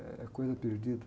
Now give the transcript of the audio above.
Eh, é coisa perdida.